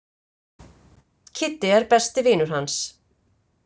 Kiddi er besti vinur hans.